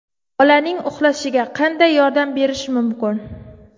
Bolaning uxlashiga qanday yordam berish mumkin?